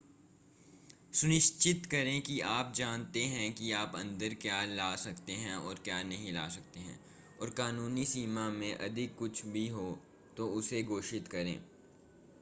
सुनिश्चित करें कि आप जानते हैं कि आप अन्दर क्या ला सकते हैं और क्या नहीं ला सकते हैं और कानूनी सीमा से अधिक कुछ भी हो तो उसे घोषित करें